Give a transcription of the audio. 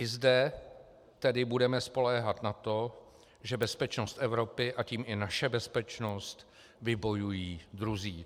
I zde tedy budeme spoléhat na to, že bezpečnost Evropy, a tím i naši bezpečnost vybojují druzí.